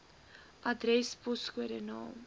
adres poskode naam